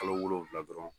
Kalo wolonfila dɔrɔn